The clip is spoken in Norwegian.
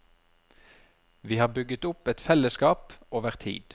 Vi har bygget opp et fellesskap, over tid.